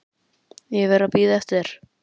Ég hef verið að bíða eftir þér.